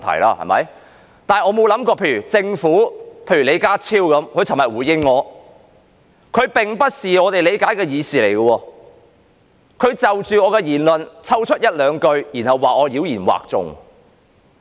但是，我想不到的是，政府——李家超局長——昨天就我發言內容的回應，並不是我們所理解的議事，他就着我的發言抽出一兩句話，然後說我妖言惑眾。